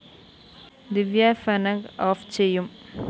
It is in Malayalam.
ദിവ്യ ഫ്ലാഗ്‌ ഓഫ്‌ ചെയ്യും